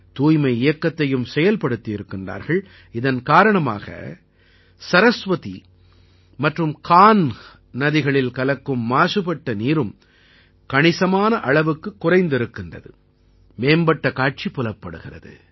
தூய்மை இயக்கத்தையும் செயல்படுத்தியிருக்கிறார்கள் இதன் காரணமாக சரஸ்வதி மற்றும் கான்ஹ் நதிகளில் கலக்கும் மாசுபட்ட நீரும் கணிசமான அளவுக்குக் குறைந்திருக்கிறது மேம்பட்ட காட்சி புலப்படுகிறது